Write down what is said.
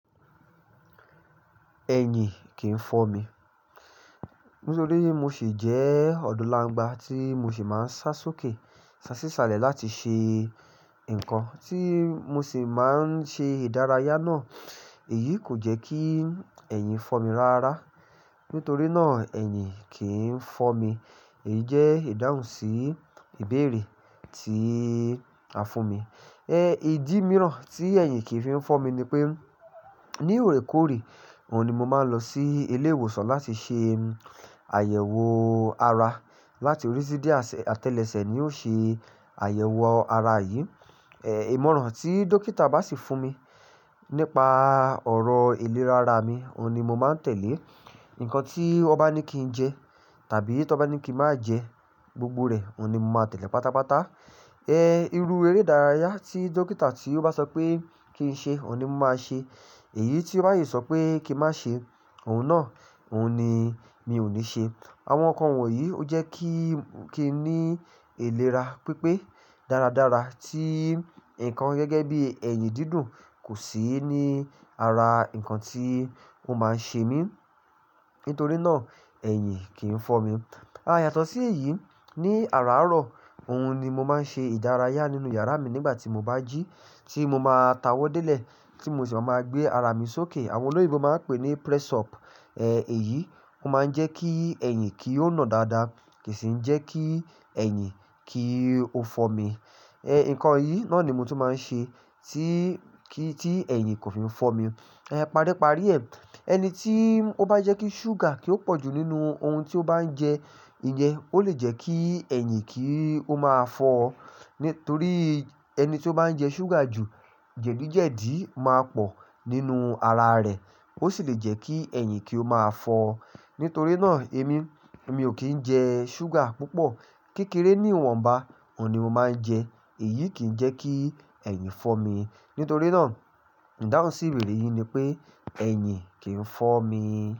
Ẹ̀yìn kì í fọ́ mi. Nítorí mo sì jẹ́ ọdọ láńgbà tí mo sì máa ń sá sókè, sá sí salẹ̀ láti ṣe nǹkan tí mo sì máa ń ṣe ìdárayá náà. Èyí kò jẹ́ kí ẹ̀yìn fọ́ mi ráárá. Nítorí náà ẹ̀yìn kì í fọ́ mi. Èyí jẹ́ ìdáhùn sí ìbéèrè tí a fún mi. Ẹ idímíràn tí ẹ̀yìn kì í fi ń fọ́ mi ni pé ní oorékòore, òun ni mo máa ń lọ sí ilé ìwòsàn láti ṣe àyẹ̀wò ara. Lati orí sí dẹ̀ atẹ́lẹsẹ̀ ni ó ṣe àyẹ̀wò ara yìí. Ẹ ìmọ̀ràn tí dókítà bá sì fún mi nípa ọ̀rọ̀ ìlera ara mi, òun ni mo máa ń tẹ̀lé. Nǹkan tí ó bá ní kí n jẹ tàbí tó bá ní kí n má jẹ, gbogbo rẹ̀ òun ni mo máa tẹ̀lé pátápátá. Ẹ irú eré ìdárayá tí dókítà tí ó bá sọ pé kí n ṣe, òun ni mo máa ṣe. Èyí tí ó bá yí sọ pé kí n má ṣe, òun náà, òun ni mi ò ní ṣe. Àwọn nǹkan wọ̀nyí ó jẹ́ kí, kí n ní ìlera pípé dáradára tí nǹkan gẹ́gẹ́ bí ẹ̀yìn dídùn kò sí ní ara nǹkan tí ó máa ń ṣe mí. Nítorí náà ẹ̀yìn kì í fọ́ mi. À, yàtọ̀ sí èyí, ní àràárọ̀ òun ni mo máa ń ṣe ìdárayá nínú yàrá mi nígbà tí mo bá jí tí mo máa tawọ́ délẹ̀ tí mo sì máa máa gbé ara mi sókè. Àwọn olóyèbo máa ń pè ní press up. Ẹ èyí máa ń jẹ́ kí ẹ̀yìn kí ó nà dáadáa kì í sì ń jẹ́ kí ẹ̀yìn kí ó fọ́ mi. Ẹ nǹkan yìí náà ni mo tun máa ń ṣe tí kí tí ẹ̀yìn kò fi ń fọ́ mi. Ẹ paríparí ẹ, ẹni tí ó bá jẹ́ kí ṣúgà kí ó pọ̀ jù nínú ohun tí ó bá ń jẹ, ìyen ó lè jẹ́ kí ẹ̀yìn kí ó máa fọ́. Nítorí ẹni tí ó bá ń jẹ ṣúgà jù, jẹ̀díjẹ̀dí máa pọ̀ nínú ara rẹ̀. Ó sì lè jẹ́ kí ẹ̀yìn kí ó máa fọ́. Nítorí náà èmi, emi ò kí ń jẹ ṣúgà púpọ̀. Kekere ni ìwọ̀n bá, òun ni mo máa ń jẹ. Èyí kì í jẹ́ kí ẹ̀yìn fọ́ mi. Nítorí náà ìdáhùn sí ìbéèrè yìí ni pé ẹ̀yìn kì í fọ́ mi.